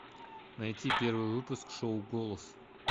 найти первый выпуск шоу голос